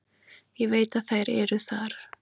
Ég veit að þær eru þar.